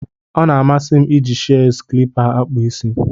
Ọna amasi m iji shears klipa akpụ isi.